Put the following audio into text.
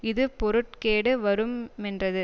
இது பொருட்கேடு வருமென்றது